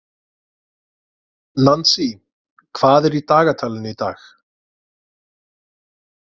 Nansý, hvað er í dagatalinu í dag?